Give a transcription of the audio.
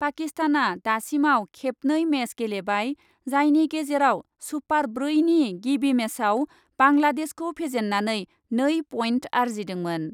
पाकिस्तानआ दासिमाव खेबनै मेच गेलेबाय जायनि गेजेराव सुपार ब्रैनि गिबि मेचआव बांलादेशखौ फेजेन्नानै नै पइन्ट आर्जिदोंमोन।